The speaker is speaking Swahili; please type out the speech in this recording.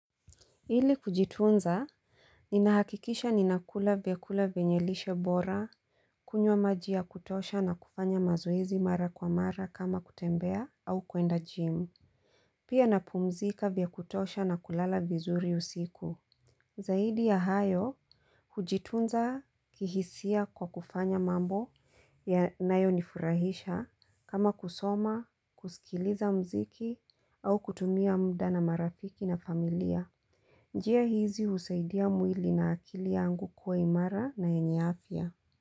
Ili kujitunza, ninahakikisha ninakula vyakula vyenye lishe bora. Kunywa maji ya kutosha na kufanya mazoizi mara kwa mara kama kutembea au kuenda gym. Pia napumzika vya kutosha na kulala vizuri usiku. Zaidi ya hayo, kujitunza kihisia kwa kufanya mambo yanayo nifurahisha kama kusoma, kusikiliza mziki au kutumia muda na marafiki na familia. Njia hizi husaidia mwili na akili yangu kuwa imara na yenye afia.